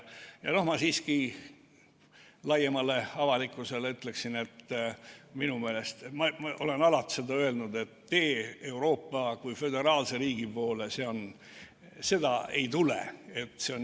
Ma siiski laiemale avalikkusele ütleksin, ma olen seda alati öelnud, et teed Euroopa kui föderaalse riigi poole ei tule.